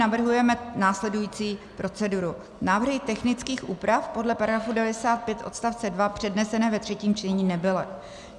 Navrhujeme následující proceduru: Návrhy technických úprav podle § 95 odst. 2 přednesené ve třetím čtení nebyly.